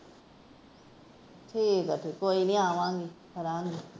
ਠੀਕ ਏ, ਕੋਈ ਨਹੀਂ ਆਵਾਂਗੇ।